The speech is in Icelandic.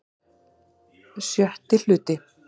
VI Hluti